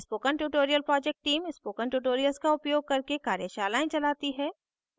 spoken tutorial project team spoken tutorials का उपयोग करके कार्यशालाएं चलाती है